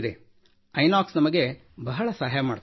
ಐನಾಕ್ಸ್ ನಮಗೆ ಬಹಳ ಸಹಾಯ ಮಾಡುತ್ತದೆ